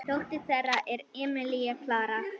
Dóttir þeirra er Emilía Klara.